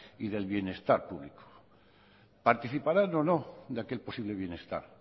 y del bienestar público participarán o no de aquel posible bienestar